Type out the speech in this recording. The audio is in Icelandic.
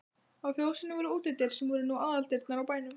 Á fjósinu voru útidyr sem nú voru aðaldyrnar á bænum.